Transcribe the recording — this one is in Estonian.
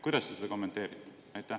Kuidas sa seda kommenteerid?